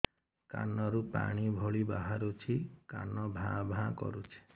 କାନ ରୁ ପାଣି ଭଳି ବାହାରୁଛି କାନ ଭାଁ ଭାଁ କରୁଛି